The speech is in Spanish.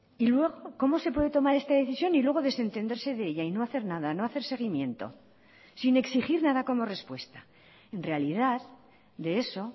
y luego cómo se puede tomar esta decisión y luego desentenderse de ella y no hacer nada no hacer seguimiento sin exigir nada como respuesta en realidad de eso